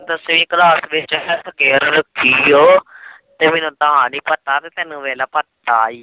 ਤ ਸੀ ਉਹ ਤੇ ਮੈਨੂੰ ਤਾ ਨੀ ਪਤਾ ਵੇਖ ਲਾ ਪਤਾ ਈ ਆ